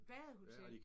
Badehotel!